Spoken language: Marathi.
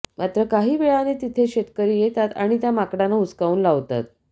मात्र काही वेळाने तिथे शेतकरी येतात आणि त्या माकडांना हुसकावून लावतात